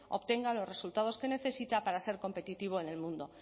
obtenga los resultados que necesita para ser competitivo en el mundo